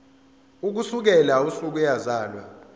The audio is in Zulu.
ukusukela usuku eyazalwa